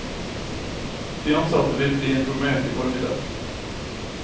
De ansatte vil bli informert i formiddag.